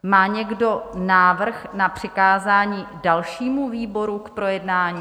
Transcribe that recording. Má někdo návrh na přikázání dalšímu výboru k projednání?